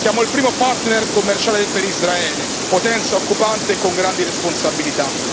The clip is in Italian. Siamo il primo partner commerciale per Israele, potenza occupante con grandi responsabilità.